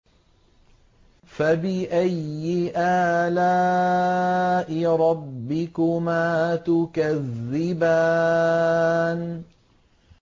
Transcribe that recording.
فَبِأَيِّ آلَاءِ رَبِّكُمَا تُكَذِّبَانِ